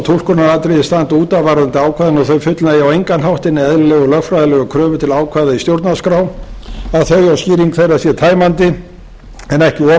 túlkunaratriði standa út af varðandi ákvæðin og þau fullnægja á engan hátt hinni eðlilegu lögfræðilegu kröfu til ákvæða í stjórnarskrá að þau og skýring þeirra sé tæmandi en ekki